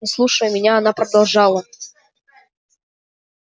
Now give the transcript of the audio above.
не слушая меня она продолжала